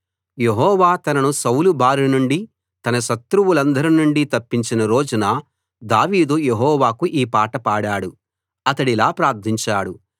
యెహోవా తనను సౌలు బారి నుండి తన శత్రువులందరి నుండి తప్పించిన రోజున దావీదు యెహోవాకు ఈ పాట పాడాడు అతడిలా ప్రార్థించాడు